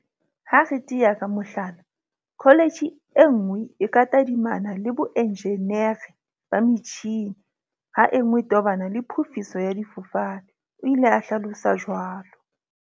Ha re tea ka mohlala, kho letjhe e nngwe e ka tadimana le boenjenere ba metjhini ha e nngwe e tobana le phofiso ya difofane, o ile a hlalosa jwalo.